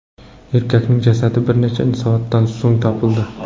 Erkakning jasadi bir necha soatdan so‘ng topildi.